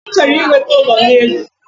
Anyi chọrọ inweta ụlọ n’elu